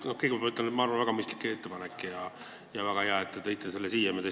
Kõigepealt pean ütlema, et minu arvates on see väga mõistlik ettepanek ja väga hea, et te tõite selle eelnõu siia.